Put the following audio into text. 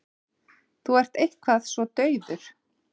Þú ert eitthvað svo daufur.